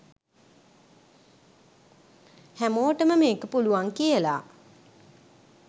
හැමෝටම මේක පුලුවන් කියලා